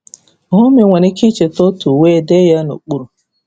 Hụ ma ị nwere ike icheta otu, wee dee ya n'okpuru.